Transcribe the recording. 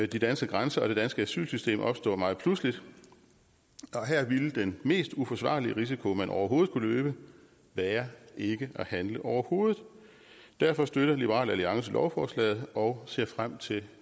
de danske grænser og det danske asylsystem opstå meget pludseligt her ville den mest uforsvarlige risiko man overhovedet kunne løbe være ikke at handle overhovedet derfor støtter liberal alliance lovforslaget og ser frem til